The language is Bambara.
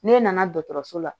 N'e nana dɔgɔtɔrɔso la